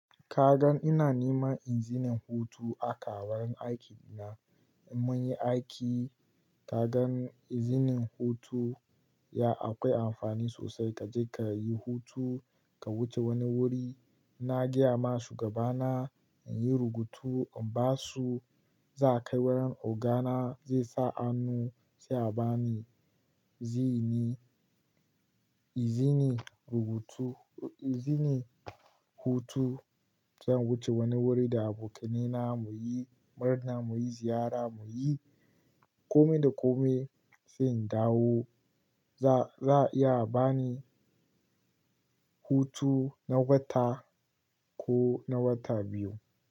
Ka gan ina neman izinin hutu aka a wurin aiki na. Mun yi aiki, ka gan izinin hutu ya akwai amfani sosai. Ka je ka yi hutu, ka wuce wani wuri. Na gaya ma shugaba na in yi rubutu in ba su, za a kai wurin Ogana zai sa annu sai a ba ni ziini izinin rubutu izinin hutu zan wuce wani wuri da abokaina mu yi murna, mu yi ziyara, mu yi kome da kome sai in dawo. Za, za a iya a ba ni hutu na wata ko na wata biyu.